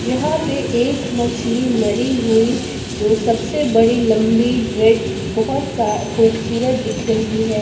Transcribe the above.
यहां पे एक मछली मरी हुई जो सबसे बड़ी लंबी रेड बहोत सा खूबसूरत दिख रही है।